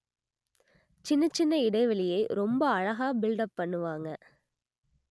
சின்னச் சின்ன இடைவெளியை ரொம்ப அழகா பில்லப் பண்ணுவாங்க